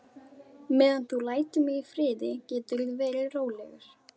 Meðan þú lætur mig í friði geturðu verið rólegur.